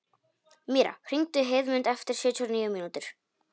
Míra, hringdu í Heiðmund eftir sjötíu og níu mínútur.